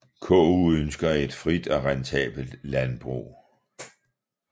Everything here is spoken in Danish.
KU ønsker et frit og rentabelt landbrug